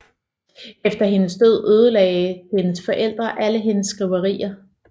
Efter hendes død ødelagde hendes forældre alle hendes skriverier